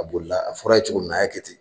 A boli la a fɔra a ye cogo min na a y'a kɛ ten